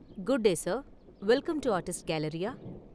Good day sir, welcome to artist galleria!